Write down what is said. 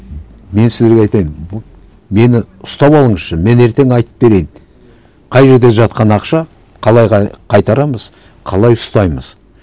мен сіздерге айтайын мені ұстап алыңызшы мен ертең айтып берейін қай жерде жатқан ақша қалай қайтарамыз қалай ұстаймыз